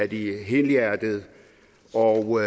de er helhjertede og